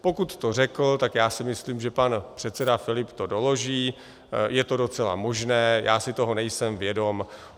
Pokud to řekl, tak já si myslím, že pan předseda Filip to doloží, je to docela možné, já si toho nejsem vědom.